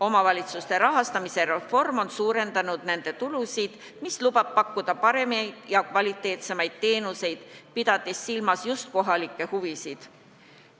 Omavalitsuste rahastamise reform on suurendanud nende tulusid, mis lubab pakkuda paremaid ja kvaliteetsemaid teenuseid, pidades silmas just kohalikke huvisid.